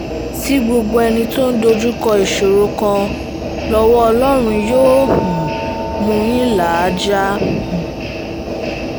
sí gbogbo ẹni tó ń dojúkọ ìṣòro kan lọ́wọ́ ọlọ́run yóò um mú yín là á já um